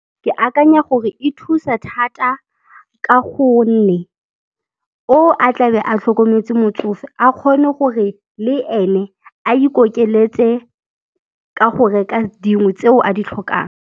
Ke akanya gore e thusa thata ka gonne o a tlabe a tlhokometse motsofe, a kgone gore le ene a ikokeletse ka go reka dingwe tseo a di tlhokang.